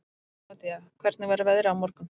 Bernódía, hvernig verður veðrið á morgun?